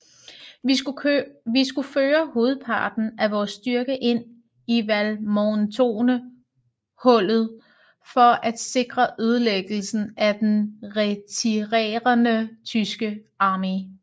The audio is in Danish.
Vi skulle føre hovedparten af vor styrke ind i Valmontone hullet for at sikre ødelæggelsen af den retirerende tyske armé